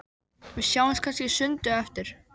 Við sjáumst kannski í sundi á eftir?